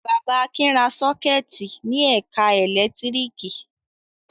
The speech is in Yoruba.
Bàbá Akin ra sọ́kẹ́tì ní ẹ̀ka ẹ̀lẹ́tíríkì.